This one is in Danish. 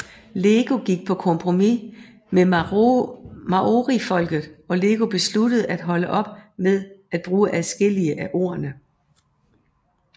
LEGO gik på kompromis med maorifolket og LEGO besluttede at holde op med at bruge adskillige af ordene